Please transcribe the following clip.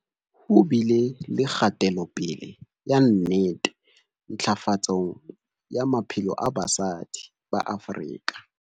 Ho bile le kgatelopele ya nnete ntlafatsong ya maphelo a basadi ba Afrika